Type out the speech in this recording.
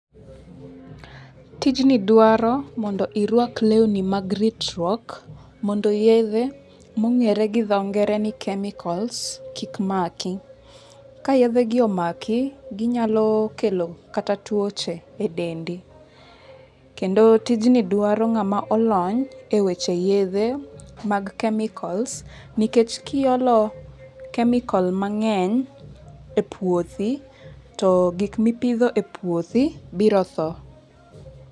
Tijni dwaro mondo irwak lewni mag ritruok, mondo yethe monge're gi tho ngere ni chemicals kik maki, ka yethe gi omaki ginyalo kelo kata twoche e dendi kedo tijni dwaro nga'ma olony e weche yethe mag chemicals nikech kiyolo chemical mange'ny e puothi to gik mi ipitho e puothi biro tho.